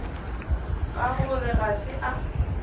ka gore ga se a